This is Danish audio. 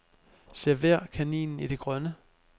Server kaninen i det grønne.